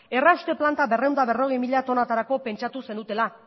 errauste planta berrehun eta berrogei mila tonatarako pentsatu zenutela